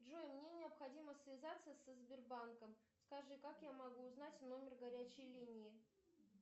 джой мне необходимо связаться со сбербанком скажи как я могу узнать номер горячей линии